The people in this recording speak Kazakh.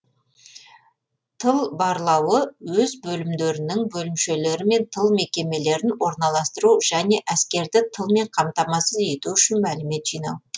тыл барлауы өз бөлімдерінің бөлімшелері мен тыл мекемелерін орналастыру және әскерді тылмен қамтамасыз ету үшін мәлімет жинау